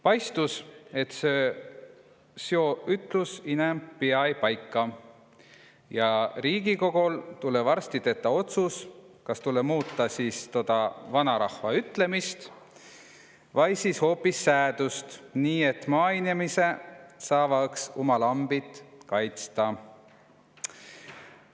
Paistus, et sjoo vanarahva ütlus inämp pia-õi paika ja Riigikogol tulõ varsti tetä otsus, kas muuta tuud vanarahva ütlemist vai siis hoopis säädust, nii et maainemise saava' uma lambit kaitsa'.